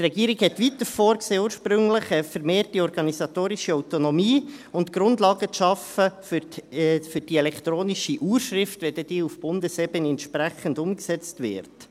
Weiter sah die Regierung ursprünglich eine vermehrte organisatorische Autonomie vor sowie die Schaffung von Grundlagen für die elektronische Urschrift, wenn diese dann auf Bundesebene entsprechend umgesetzt wird.